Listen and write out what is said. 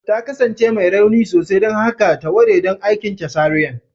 Ta kasance mai rauni sosai, don haka ta ware don aikin cesarean